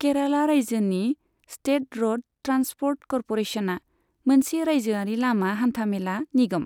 केराला रायजोनि state road transport क'र्परेसनआ मोनसे रायजोआरि लामा हान्थामेला निगम।